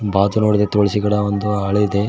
ಪಾತ್ರದೊಳದೆ ತುಲಾಸಿ ಗಿಡ ಒಂದು ಆಳಿದೆ.